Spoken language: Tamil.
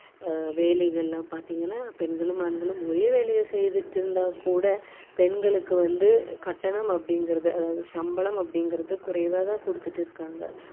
பெண்கள் ஆண்களும் சரி அதாவது உயர்ந்த நிறுவனங்களில உயர்ந்த வேலைகள் எல்லாம் பார்த்தீங்கன்னா பெண்களும் ஆண்களும் ஒரே வேலையை செய்துட்டு இருந்தாக்கூட பெண்களுக்கு வந்து